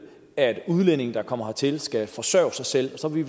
at udlændinge der kommer hertil skal forsørge sig selv og så ville